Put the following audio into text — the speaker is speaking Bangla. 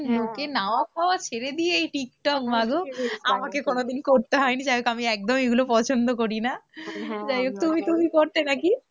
সারাদিন লোকে নাওয়া খাওয়া ছেড়ে দিয়ে এই টিকটক মা গো, আমাকে কোনোদিন করতে হয়নি, জানো তো আমি একদম এইগুলো পছন্দ করি না হ্যাঁ যাই হোক তুমি তুমি করতে না কি?